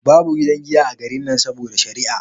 Babu gidan giya a garin nan saboda shari'a